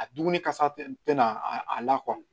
A dumuni kasa tɛ nan a la